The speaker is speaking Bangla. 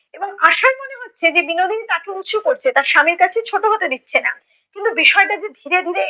এবং আশার মনে হচ্ছে যে বিনোদিনী তাকে উঁচু করছে, তার স্বামীর কাছে ছোটো হতে দিচ্ছে ন। কিন্তু বিষয়টা যে ধীরে ধীরে